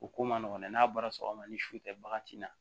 O ko man nɔgɔn dɛ n'a bɔra sɔgɔma ni su tɛ bagan ti na